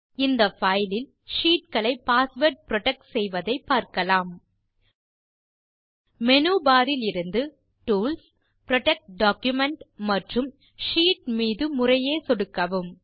இந்த பைல் இல் ஷீட் களை பாஸ்வேர்ட் புரொடெக்ட் செய்வதை பார்க்கலாம் மேனு barஇலிருந்து டூல்ஸ் புரொடெக்ட் டாக்குமென்ட் மற்றும் ஷீட் மீது முறையே சொடுக்கவும்